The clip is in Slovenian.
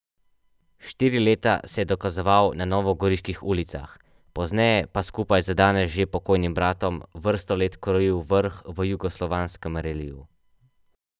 Štiri leta se je dokazoval na novogoriških ulicah, pozneje pa skupaj z danes že pokojnim bratom vrsto let krojil vrh v jugoslovanskem reliju.